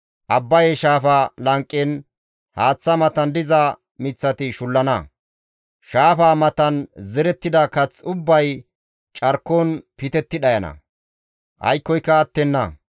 Abbaye shaafa lanqen haaththa matan diza miththati shullana; shaafaa matan zerettida kath ubbay carkon pitetti dhayana; aykkoyka attenna.